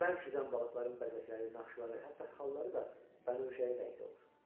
bərk üzən balıqların bəzəkləri, naxışları, hətta xalları da bənövşəyi rəngdə olur.